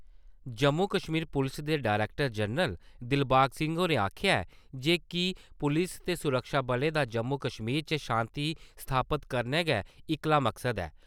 जम्मू-कश्मीर पुलस दे director general Dilbag Singh होरें आक्खेआ ऐ, जे कि पुलस ते सुरक्षा बलें दा जम्मू-कश्मीर च शांति स्थापत करना गै इक्कला मकसद ऐ।